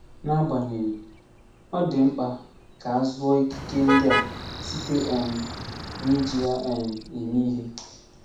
N'agbanyeghị, ọ dị mkpa ka a zụọ ikike ndị a “site um n'iji ya um eme ihe.”